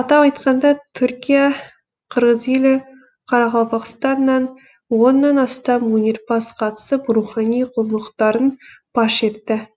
атап айтқанда түркия қырғыз елі қарақалпақстаннан оннан астам өнерпаз қатысып рухани құндылықтарын паш етті